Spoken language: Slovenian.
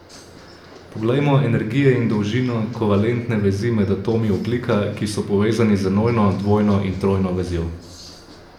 Poglejmo energije in dolžino kovalentne vezi med atomi ogljika, ki so povezani z enojno, dvojno in trojno vezjo.